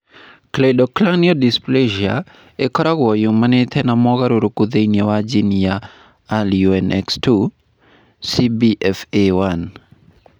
Cleidocranial dysplasia ĩkoragwo yumanĩte na mogarũrũku thĩinĩ wa jini ya RUNX2 (CBFA1).